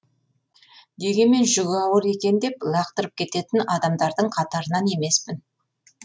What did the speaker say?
дегенмен жүгі ауыр екен деп лақтырып кететін адамдардың қатарынан емеспін